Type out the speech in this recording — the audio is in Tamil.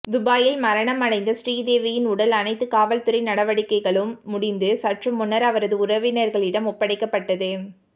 துபாயில் மரணம் அடைந்த ஸ்ரீதேவியின் உடல் அனைத்து காவல்துறை நடவடிக்கைகளும் முடிந்து சற்றுமுன்னர் அவரது உறவினர்களிடம் ஒப்படைக்கப்பட்டது